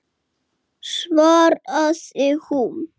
spurði Þórkell aftur.